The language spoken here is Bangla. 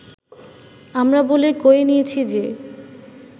আমরা বলে কয়ে নিয়েছি যে